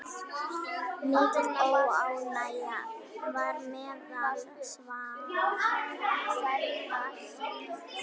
Mikil óánægja var meðal slava.